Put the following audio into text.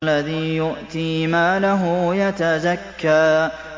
الَّذِي يُؤْتِي مَالَهُ يَتَزَكَّىٰ